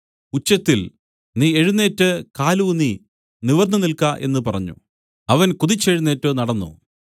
ഉച്ചത്തിൽ നീ എഴുന്നേറ്റ് കാലൂന്നി നിവർന്നുനിൽക്ക എന്ന് പറഞ്ഞു അവൻ കുതിച്ചെഴുന്നേറ്റ് നടന്നു